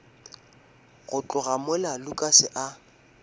go tloga mola lukas a